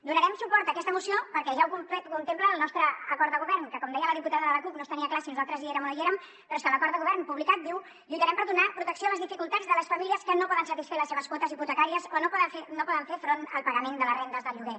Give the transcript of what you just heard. donarem suport a aquesta moció perquè ja ho contempla el nostre acord de govern que com deia la diputada de la cup no es tenia clar si nosaltres hi érem o no hi érem però és que l’acord de govern publicat diu lluitarem per donar protecció a les dificultats de les famílies que no poden satisfer les seves quotes hipotecàries o no poden fer front al pagament de les rendes del lloguer